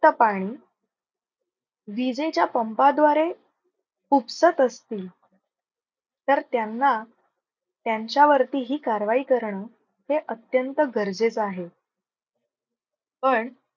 त पाणी विजेच्या पंप द्वारे उपसत असतील तर, त्यांना त्यांच्या वरती ही कारवाई करण हे अत्यंत गरजेचं आहे. पण